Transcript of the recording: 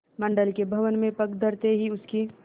मंडल के भवन में पग धरते ही उसकी